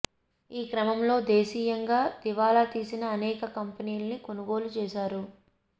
ఈ క్రమంలో దేశీయంగా దివాలా తీసిన అనేక కంపెనీల్ని కొనుగోలు చేశారు